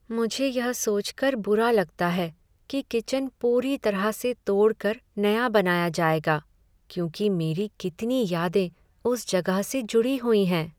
मुझे यह सोच कर बुरा लगता है की किचन पूरी तरह से तोड़ कर नया बनाया जाएगा क्योंकि मेरी कितनी यादें उस जगह से जुड़ी हुई हैं।